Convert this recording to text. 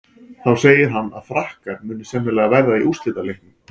Þá segir hann að Frakkar muni sennilega verða í úrslitaleiknum.